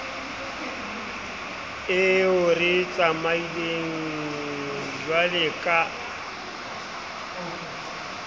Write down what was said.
eo re e tsamaileng jwaleka